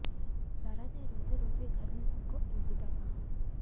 सारा ने रोते रोते घर में सबको अलविदा कहा